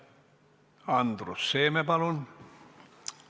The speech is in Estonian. Andrus Seeme, palun!